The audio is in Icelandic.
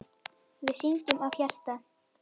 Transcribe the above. Við syngjum af hjarta.